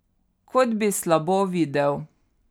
Kot bi slabo videl.